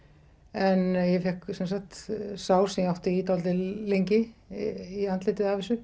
en ég fékk sem sagt sár sem ég átti í dálítið lengi í andlitið af þessu